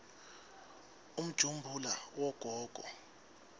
umjumbula wagogo